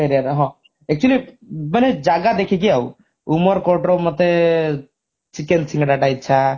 area ର ହଁ actually ମାନେ ଜାଗା ଦେଖିକି ଆଉ ଉମେରକୋଟର ମତେ chicken ସିଙ୍ଗଡା ଟା ଇଚ୍ଛା